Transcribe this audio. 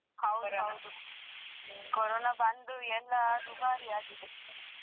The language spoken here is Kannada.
ಹೌದು ಹೌದು. Corona ಬಂದು ಎಲ್ಲಾ ದುಬಾರಿಯಾಗಿದೆ.